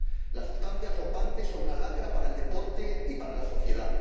Las sustancias dopantes son una lacra para el deporte y para la sociedad.